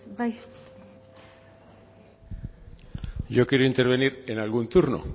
bai yo quería intervenir en algún turno